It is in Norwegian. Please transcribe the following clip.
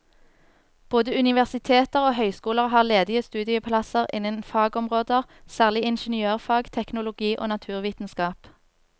Både universiteter og høyskoler har ledige studieplasser innen noen fagområder, særlig ingeniørfag, teknologi og naturvitenskap.